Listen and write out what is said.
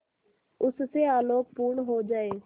उससे आलोकपूर्ण हो जाए